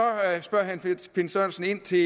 spørger herre finn sørensen ind til